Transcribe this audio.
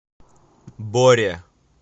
боре